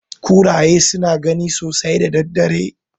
Kuraye suna gani sosai da daddare.